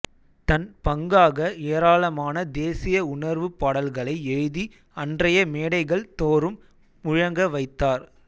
தன் பங்காக ஏராளமான தேசிய உணர்வுப் பாடல்களை எழுதி அன்றைய மேடைகள் தோறும் முழங்க வைத்தார்